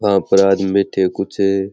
वहां पर आदमी बैठे है कुछ।